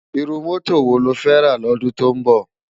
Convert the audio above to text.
Irú mòtó wó ló fè rá lòdún tó nbò?